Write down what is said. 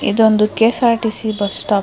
ಇದೊಂದು KSRTC. Bus stop .